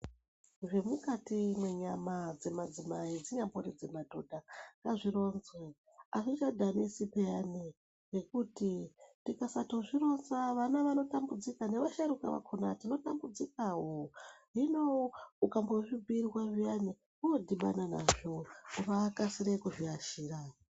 Zvemukati menyama dzemadzimai zvimweni zvinogona kuita ngazvironzwe azvichadhanisi piyani Ngekuti tikasatosvironza vana vanotambudzika nevasharukwa vakona tinotambudzikawo hino akuzvibhirwa zviyani wodhibana nazvo unokasira kuzviashira.